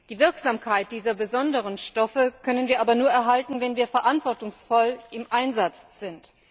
Die Wirksamkeit dieser besonderen Stoffe können wir aber nur erhalten, wenn wir verantwortungsvoll im Einsatz sind.